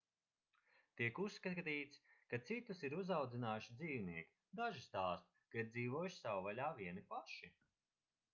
tiek uzskatīts ka citus ir uzaudzinājuši dzīvnieki daži stāsta ka ir dzīvojuši savvaļā vieni paši